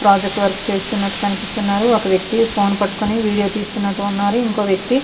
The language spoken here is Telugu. ప్రాజెక్ట్ వర్క్ చేస్తునట్టు కనిపిస్తున్నారు. ఒక వెక్తి ఫోన్ పట్టుకొని వీడియో తెస్తునాడు ఇంకో వెక్తి --